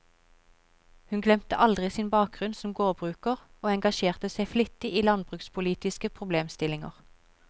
Hun glemte aldri sin bakgrunn som gårdbruker, og engasjerte seg flittig i landbrukspolitiske problemstillinger.